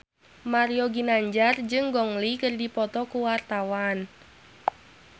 Mario Ginanjar jeung Gong Li keur dipoto ku wartawan